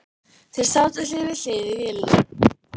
Þeir sátu hlið við hlið í vélinni.